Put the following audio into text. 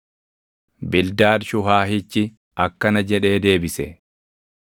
Bildaad Shuhaahichi akkana jedhee deebise: